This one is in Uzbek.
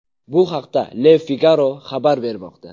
Bu haqda Le Figaro xabar bermoqda .